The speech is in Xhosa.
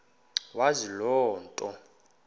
wazi loo nto